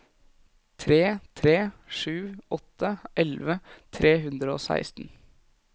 tre tre sju åtte elleve tre hundre og seksten